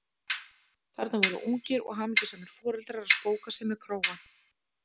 Þarna voru ungir og hamingjusamir foreldrar að spóka sig með krógann!